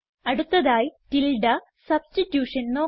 അടുത്തതായി tilde substitution നോക്കാം